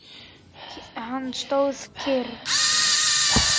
Hann stóð kyrr.